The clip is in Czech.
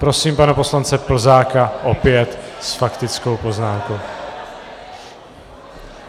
Prosím pana poslance Plzáka, opět s faktickou poznámkou.